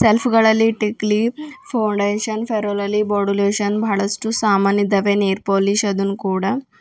Shelf ಗಳಲ್ಲಿ ಟಿಕ್ಲಿ foundation fair and lovely body lotion ಬಹಳಷ್ಟು ಸಾಮಾನ್ ಇದಾವೆ ನೈಲ್ ಪೋಲಿಷ್ ಅದನ್ನು ಕೂಡ.